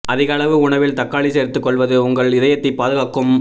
அதிக அளவு உணவில் தக்காளி சேர்த்துக் கொள்வது உங்கள் இதயத்தைப் பாதுகாக்கும்